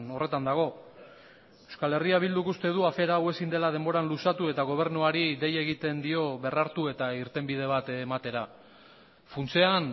horretan dago euskal herria bilduk uste du afera hau ezin dela denboran luzatu eta gobernuari dei egiten dio berrartu eta irtenbide bat ematera funtsean